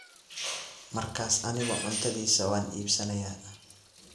markaas anigu cuntadiisa waan iibsanayaa